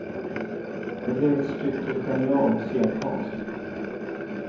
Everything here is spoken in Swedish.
Det blev ett stycke genial scenkonst.